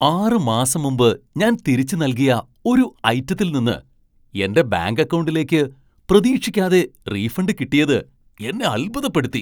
ആറ് മാസം മുമ്പ് ഞാൻ തിരിച്ചു നൽകിയ ഒരു ഐറ്റത്തിൽ നിന്ന് എന്റെ ബാങ്ക് അക്കൗണ്ടിലേക്ക് പ്രതീക്ഷിക്കാതെ റീഫണ്ട് കിട്ടിയത് എന്നെ അത്ഭുതപ്പെടുത്തി.